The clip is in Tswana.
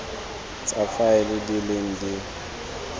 tsa faele di leng di